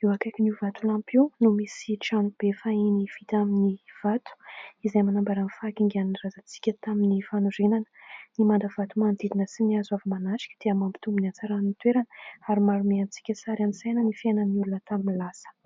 Eo akaikin'io vatolampy io no misy trano be fahiny vita amin'ny vato izay manambara ny fahakingan'ny razantsika tamin'ny fanorenana. Ny manda vato manodidina sy ny hazo avy manatrika dia mampitombo ny hatsaran'ny toerana ary manome antsika sary an-tsaina ny fiainan'ny olona tamin'ny lasa.